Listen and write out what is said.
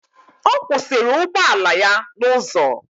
Ọ kwụsịrị ụgbọala ya n'ụzọ.